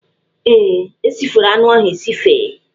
Ee, e sifere anụ ahụ esife.